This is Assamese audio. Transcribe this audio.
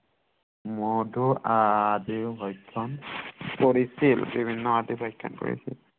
মধু আদিও ভক্ষণ কৰিছিল বিভিন্ন আদিও ভক্ষণ কৰিছিল